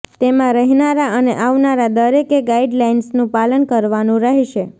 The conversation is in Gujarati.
તેમાં રહેનારા અને આવનારા દરેકે ગાઈડલાઈન્સનું પાલન કરવાનું રહેશે